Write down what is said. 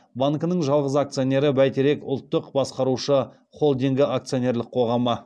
банкінің жалғыз акционері бәйтерек ұлттық басқарушы холдингі акционерлік қоғамы